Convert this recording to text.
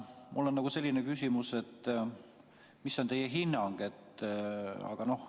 Mul on selline küsimus, et mis on teie hinnang.